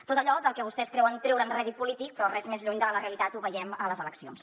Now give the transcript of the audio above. tot allò del que vostès creuen treure’n rèdit polític però res més lluny de la realitat ho veiem a les eleccions